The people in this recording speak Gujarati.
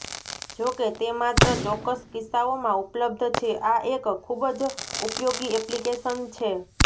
જોકે તે માત્ર ચોક્કસ કિસ્સાઓમાં ઉપલબ્ધ છે આ એક ખૂબ જ ઉપયોગી એપ્લિકેશન છે